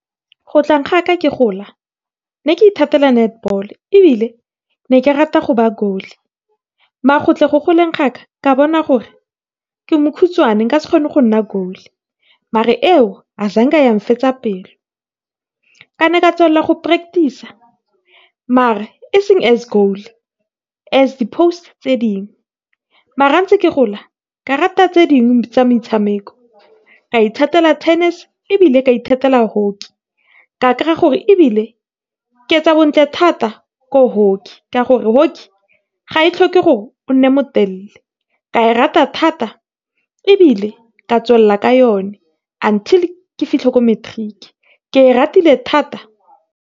Go tleng ga ka ke gola, ne ke ithatela netball, ebile ne ke rata go , go tle go go leng ga ka, ka bona gore ke mokhutswane nka se kgone go nna , eo yang fetsa pelo. Ka ne ka tswelela go practice-a, mare e seng as , as di post tse dingwe, mara ga kentse ke gola ka rata tse dingwe tsa metshameko, ka ithatela tennis, ebile ke a ithatela hockey. Ka kry-a gore, ebile ke etsa bontle thata ko hockey, ka gore hockey ga e tlhoke gore o nne motelele. Ka e rata thata ebile, ke a tswelela ka yone until ke fitlhe ko matric. Ke e ratile thata.